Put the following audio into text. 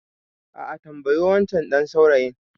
A'a, tambayi wancan ɗan saurayin.